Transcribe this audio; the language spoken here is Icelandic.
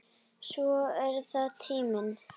Svo er það tíminn.